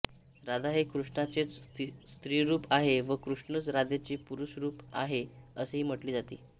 राधा हे कृष्णाचेच स्त्रीरूप आहे व कृष्णच राधेचे पुरुषरूप आहे असेही म्हटले जाते